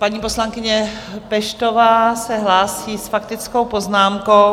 Paní poslankyně Peštová se hlásí s faktickou poznámkou.